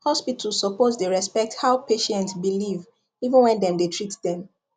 hospital suppose dey respect how patient believe even when dem dey treat dem